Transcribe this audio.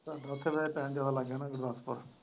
ਉੱਥੇ ਫਿਰ ਟਾਇਮ ਜਿਆਦਾ ਲੱਗ ਗਿਆ ਨਾ ਗੁਰਦਾਸਪੁਰ।